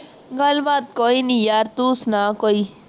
ਗੱਲਬਾਤ ਕੋਈ ਨਹੀਂ ਯਾਰ, ਤੂੰ ਸੁਣਾ ਕੋਈ